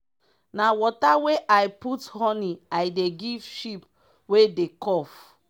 na water wey i put honey i dey give sheep wey dey cough.